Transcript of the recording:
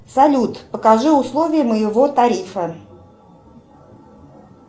салют покажи условия моего тарифа